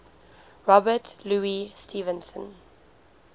robert louis stevenson